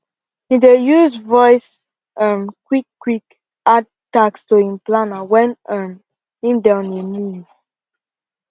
he dey use voice um quick quick add task to him planner wen um him dey on a move